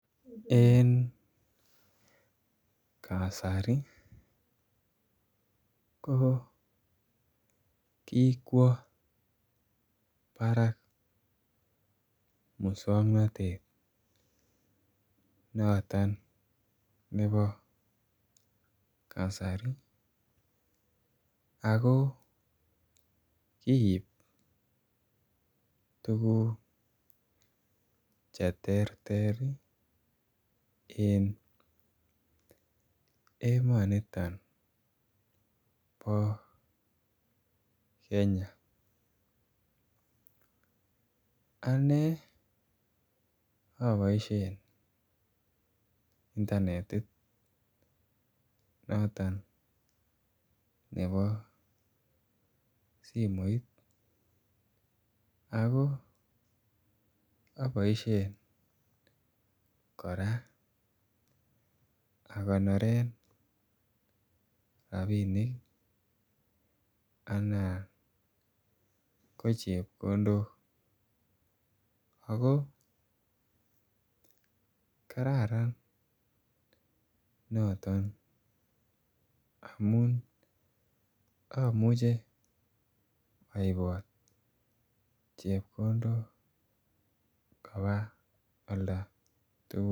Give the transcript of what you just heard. En kasari ko kikwo brakes muswongnotet noton nebo kasari ako kiib tuguk che terter ii en emoniton bo Kenya anee oboishen Internetit noton nebo simoit ako oboishen Koraa agonoren rabinik Alan ko chepkondok ako kararan noton amun omuche oibot Chepkondok kobaa olda tugul